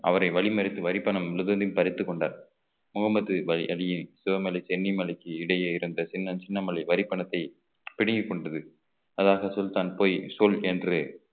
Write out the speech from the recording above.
அவரை வழிமறித்து வரிப்பணம் முழுவதிலும் பறித்துக் கொண்டார் முகமது பாய் அலியை சிவமலை சென்னிமலைக்கு இடையே இருந்த தீரன் சின்னமலை வரிப்பணத்தை பிடுங்கிக் கொண்டது அதனால்தான் சுல்தான் பொய் சொல் என்று